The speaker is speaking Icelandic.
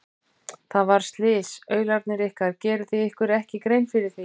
Það varð slys, aularnir ykkar, gerið þið ykkur ekki grein fyrir því?